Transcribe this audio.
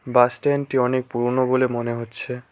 বাসস্ট্যান্ডটি অনেক পুরোনো বলে মনে হচ্ছে।